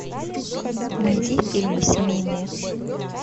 найди фильмы семейные